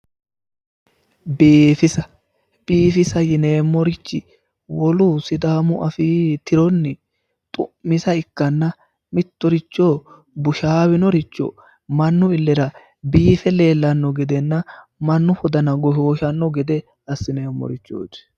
biifisa biifisa yineemmorichi wolu sidaamu afii tironni xu'misa ikkanna mittoricho bushaawinoricho mannu illera biife leellanno gedenna mannu wodana goshooshanno gede assineemmorichooti.